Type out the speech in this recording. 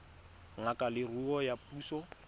ngaka ya leruo ya puso